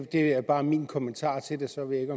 det er bare min kommentar til det så ved